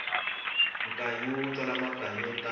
nkanyi wu tswala makanyi yo tala